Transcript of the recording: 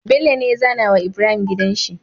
Bello ne ya zAna wa Ibrahim gidanshi